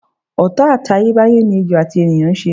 Ò̩tá àtayébáyé ni ejò àti ènìyàn ń s̩e.